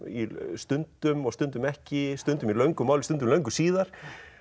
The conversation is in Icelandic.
stundum og stundum ekki stundum í löngu máli stundum löngu síðar